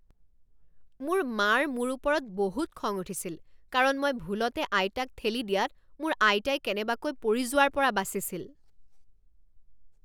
মোৰ মাৰ মোৰ ওপৰত বহুত খং উঠিছিল কাৰণ মই ভুলতে আইতাক ঠেলি দিয়াত মোৰ আইতাই কেনেবাকৈ পৰি যোৱাৰ পৰা বাচিছিল।